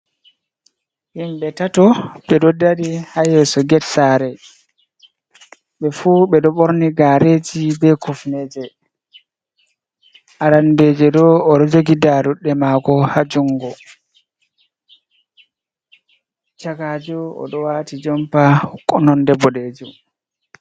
Himɓe tato ɓe ɗo dari ha yeso get sare, ɓe fu ɓeɗo borni gareji be kufneje, arandejo ɗo oɗo jogi daruɗɗe mako ha jungo, chakajo oɗo waiti jompa nonde bodejum.